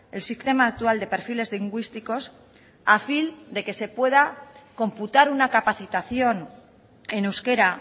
el sistema actual de perfiles lingüísticos a fin de que se pueda computar una capacitación en euskera